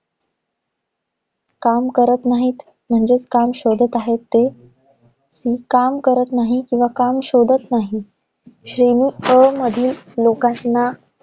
काम करत नाहीत, म्हणजे काम शोधात आहेत ते. आणि काम करत नाही किंवा काम शोधात नाही. श्रेणी अ मधील लोकांना